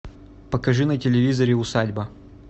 покажи на телевизоре усадьба